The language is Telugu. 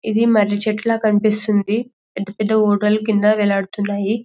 ఇది మరి చెట్ల కన్పిస్తుంది పెద్ద పెద్ద ఓడల కింద వేలాడుతున్నాయి --